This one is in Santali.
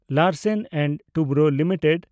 Larsen and Toubro limited